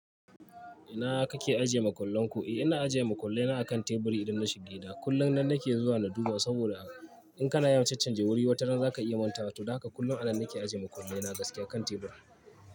Ina kake ajiye makullan ku? Eh ina ajiye makullai na a kan teburi idan na shiga gida. Kullum nan nake zuwa na duba saboda in kana yawon cancanja wuri wata ran zaka iya mantawa. To don haka kullum anan nake ajiye makullai na gaskiya a kan tebur.